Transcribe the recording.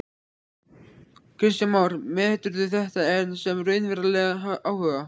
Kristján Már: Meturðu þetta sem raunverulegan áhuga?